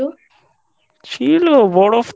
ছিল বরফ তো